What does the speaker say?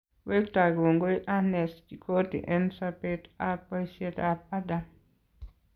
Wektaa kongoi Ernest Chikoti en sobeet ab boisiet ab Adam